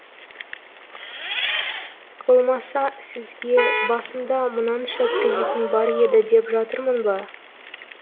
болмаса сізге басымда мынанша кредитім бар еді деп жатырмын ба